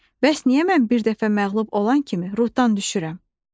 Bəs niyə mən bir dəfə məğlub olan kimi ruhdan düşürəm?